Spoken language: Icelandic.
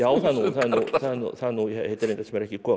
það er nú heiti reyndar sem er ekki komið frá